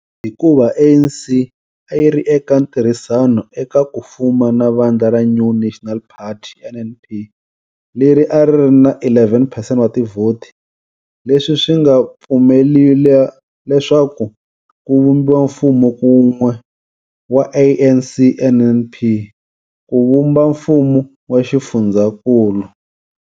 Hikuva, ANC a yi ri eka ntirhisano eka ku fuma na vandla ra New National Party, NNP, leri a ri ri na 11 percent wa tivhoti, leswi swi nga pfumelela leswaku ku vumbiwa mfuma kun'we wa ANC-NNP ku vumba mfumo wa xifundzhankulu.